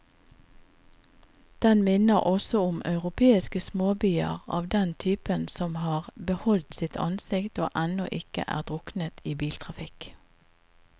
Den minner også om europeiske småbyer av den typen som har beholdt sitt ansikt og ennå ikke er druknet i biltrafikk.